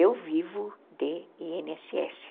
Eu vivo de i ene esse esse